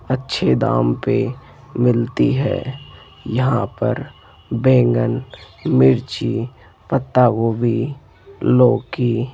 अच्छे दाम पे मिलती है यहां पर बैंगन मिर्ची पत्ता गोभी लौकी --